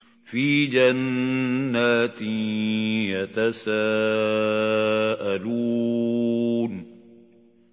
فِي جَنَّاتٍ يَتَسَاءَلُونَ